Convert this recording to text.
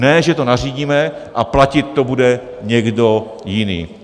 Ne že to nařídíme a platit to bude někdo jiný.